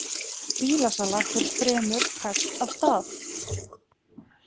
Bílasala fer fremur hægt af stað